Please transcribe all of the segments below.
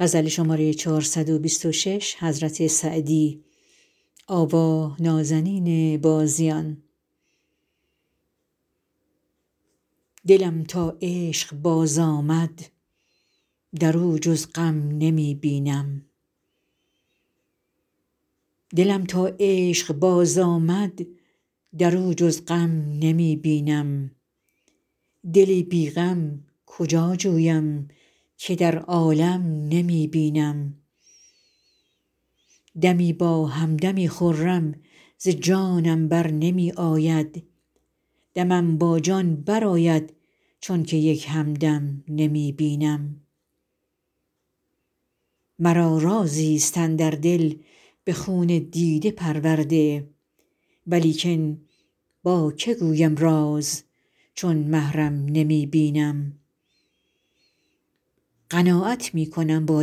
دلم تا عشق باز آمد در او جز غم نمی بینم دلی بی غم کجا جویم که در عالم نمی بینم دمی با هم دمی خرم ز جانم بر نمی آید دمم با جان برآید چون که یک هم دم نمی بینم مرا رازی ست اندر دل به خون دیده پرورده ولیکن با که گویم راز چون محرم نمی بینم قناعت می کنم با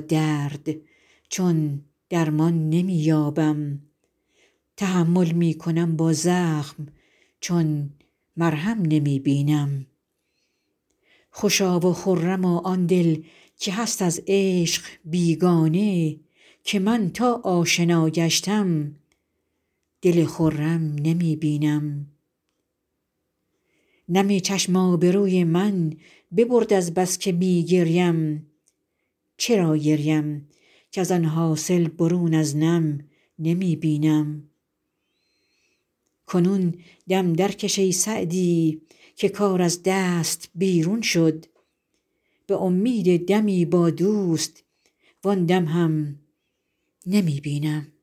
درد چون درمان نمی یابم تحمل می کنم با زخم چون مرهم نمی بینم خوشا و خرما آن دل که هست از عشق بیگانه که من تا آشنا گشتم دل خرم نمی بینم نم چشم آبروی من ببرد از بس که می گریم چرا گریم کز آن حاصل برون از نم نمی بینم کنون دم درکش ای سعدی که کار از دست بیرون شد به امید دمی با دوست وآن دم هم نمی بینم